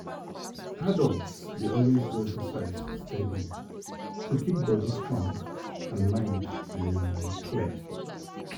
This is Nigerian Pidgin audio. adults dey always do exercise steady to keep body strong and mind um clear.